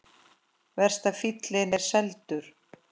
Verst að fíllinn er seldur.